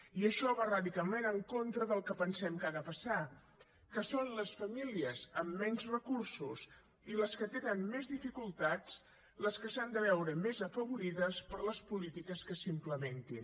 i això va radicalment en contra del que pensem que ha de passar que són les famílies amb menys recursos i les que tenen més dificultats les que s’han de veure més afavorides per les polítiques que s’implementin